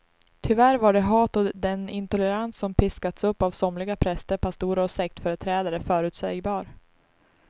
Tyvärr var det hat och den intolerans som piskats upp av somliga präster, pastorer och sektföreträdare förutsägbar.